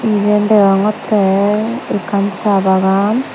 iben degongottey ekkan saa bagan.